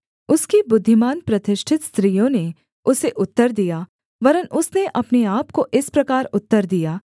उसकी बुद्धिमान प्रतिष्ठित स्त्रियों ने उसे उत्तर दिया वरन् उसने अपने आपको इस प्रकार उत्तर दिया